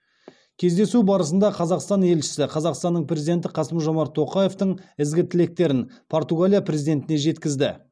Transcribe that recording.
кездесу барысында қазақстан елшісі қазақстанның президенті қасым жомарт тоқаевтың ізгі тілектерін португалия президентіне жеткізді